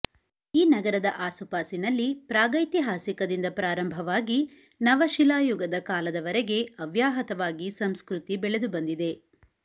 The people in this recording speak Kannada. ಈ ನಗರದ ಆಸುಪಾಸಿನಲ್ಲಿ ಪ್ರಾಗೈತಿಹಾಸಿಕದಿಂದ ಪ್ರಾರಂಭವಾಗಿ ನವಶಿಲಾಯುಗದ ಕಾಲದವರೆಗೆ ಅವ್ಯಾಹತವಾಗಿ ಸಂಸ್ಕ್ರತಿ ಬೆಳೆದು ಬಂದಿದೆ